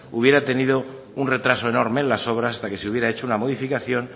hubiera tenido un retraso enorme en las obras hasta que se hubiera hecho una modificación